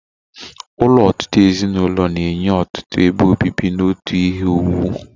Ụlọ ọtụtụ ezinụlọ na-enye ọtụtụ ebe obibi na otu ihe owuwu